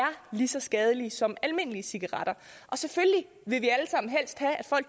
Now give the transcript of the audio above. lige så skadelige som almindelige cigaretter vi